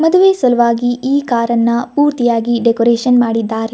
ಮದುವೆ ಸಲುವಾಗಿ ಈ ಕಾರ್ ಅನ್ನ ಪೂರ್ತಿಯಾಗಿ ಡೆಕೋರೇಷನ್ ಮಾಡಿದ್ದಾರೆ.